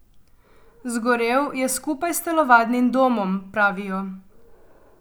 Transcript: Zgorel je skupaj s telovadnim domom, pravijo.